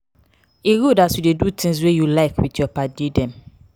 e good as you dey do tins wey you like wit your paddy dem.